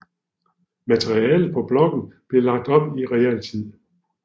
Materialet på bloggen blev lagt op i realtid